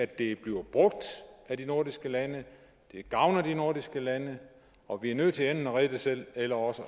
det bliver brugt af de nordiske lande det gavner de nordiske lande og vi er nødt til enten at redde det selv eller også